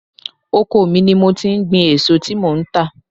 Oko mi ni mo ti ń gbin èso tí mò ń tà.